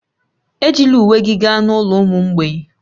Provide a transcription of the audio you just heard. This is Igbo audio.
Ejila uwe gị gaa n'ụlọ ụmụ mgbei